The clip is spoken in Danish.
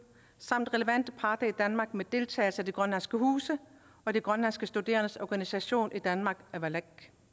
samt relevante parter i danmark med deltagelse af de grønlandske huse og de grønlandske studerendes organisation i danmark avalak